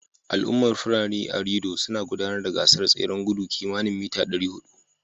Al'ummar Fulani a Rido na gudanar da gasar tseren gudu kimani mita 400